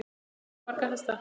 Hann á marga, marga hesta.